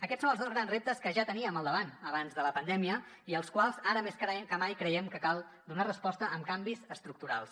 aquests són els dos grans reptes que ja teníem al davant abans de la pandèmia i als quals ara més que mai creiem que cal donar resposta amb canvis estructurals